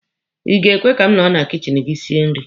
Ị ga-ekwe ka m nọrọ na kichin gị sie nri?